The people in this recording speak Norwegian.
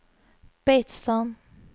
Beitstad